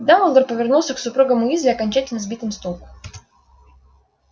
дамблдор повернулся к супругам уизли окончательно сбитым с толку